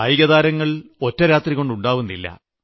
കായികതാരങ്ങൾ ഒറ്റ രാത്രികൊണ്ട് ഉണ്ടാകുന്നില്ല